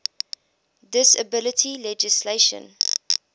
disability legislation